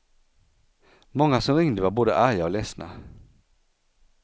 Många som ringde var både arga och ledsna.